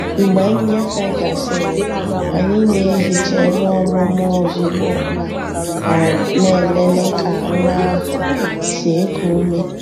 Mgbe nnyefe gasịrị, anyị na-ehicha ebe ọmụmụ ozugbo ma um na-elele ka nwa ahụ si eku ume.